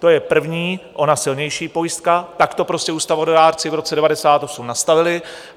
To je první, ona silnější pojistka, tak to prostě ústavodárci v roce 1998 nastavili.